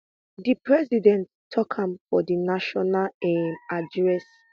di president tok am for di national um address